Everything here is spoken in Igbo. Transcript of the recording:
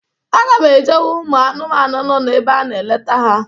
Aga m eje hụ ụmụanụmanụ nọ na ebe a na-aleta ha.